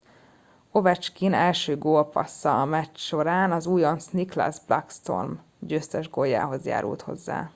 ovechkin első gólpassza a meccs során az újonc nicklas backstrom győztes góljához járult hozzá